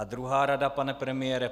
A druhá rada, pane premiére.